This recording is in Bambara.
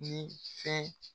Nin fɛn